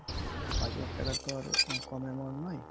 পাঁচ লাখ টাকা তো আর কম amount নয়